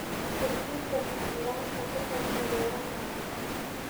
Kordhinta faham la'aanta ku saabsan beeraha waara.